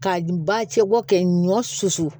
Ka ba cɛ bɔ kɛ ɲɔ susu